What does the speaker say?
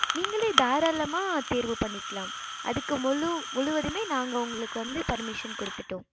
நிங்களே தாரளாம தேர்வு பணிக்கலாம் அதுக்கு முழு முழுவதுமே நாங்க உங்களுக்கு வந்து permission குடுத்திடோம்